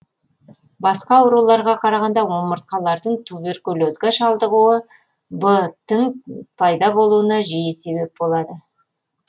басқа ауруларға қарағанда омыртқалардың туберкулезге шалдығуы б тің пайда болуына жиі себеп болады